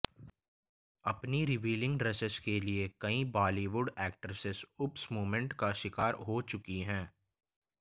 अपनी revealing dresses के लिए कई बॉलीवुड एक्ट्रेसेस ऊप्स मूमेंट का शिकार हो चुकी हैं